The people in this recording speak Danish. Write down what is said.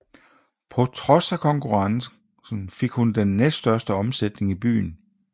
På trods af konkurrencen fik hun den næststørste omsætning i byen